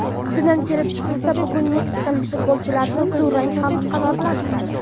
Shundan kelib chiqilsa, bugun meksikalik futbolchilarni durang ham qanoatlantiradi.